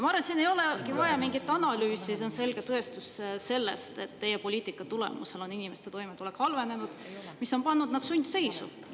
Ma arvan, et siin ei olegi vaja mingit analüüsi, see on selge tõestus, et teie poliitika tulemusel on inimeste toimetulek halvenenud, mis on pannud nad sundseisu.